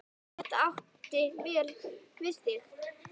Það átti vel við þig.